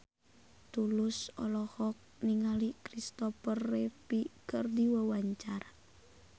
Tulus olohok ningali Kristopher Reeve keur diwawancara